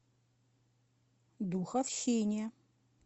духовщине